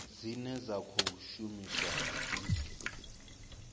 dzine dza khou shumiswa dzi